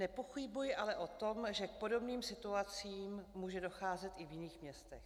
Nepochybuji ale o tom, že k podobným situacím může docházet i v jiných městech.